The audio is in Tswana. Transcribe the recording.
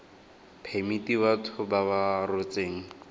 phemiti batho ba ba rotseng